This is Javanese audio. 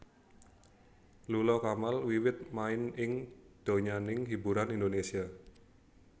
Lula Kamal wiwit main ing donyaning hiburan Indonésia